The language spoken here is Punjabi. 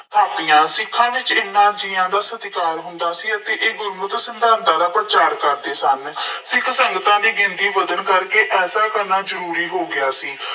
ਸਥਾਪੀਆਂ। ਸਿੱਖਾਂ ਵਿੱਚ ਇਹਨਾ ਜੀਆਂ ਦਾ ਸਤਿਕਾਰ ਹੁੰਦਾ ਸੀ ਅਤੇ ਇਹ ਗੁਰਮਤਿ ਸਿਧਾਂਤਾਂ ਦਾ ਪ੍ਰਚਾਰ ਕਰਦੇ ਸਨ। ਸਿੱਖ ਸੰਗਤਾਂ ਦੀ ਗਿਣਤੀ ਵੱਧਣ ਕਰਕੇ ਐਸਾ ਕਰਨਾ ਜ਼ਰੂਰੀ ਹੋ ਗਿਆ ਸੀ।